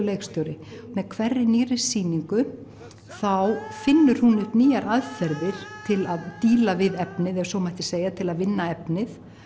leikstjóri með hverri nýrri sýningu þá finnur hún nýjar aðferðir til að díla við efnið ef svo mætti segja til að vinna efnið